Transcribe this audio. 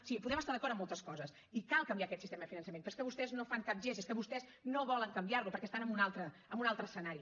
sí podem estar d’acord en moltes coses i cal canviar aquest sistema de finançament però és que vostès no fan cap gest és que vostès no volen canviar lo perquè estan en un altre escenari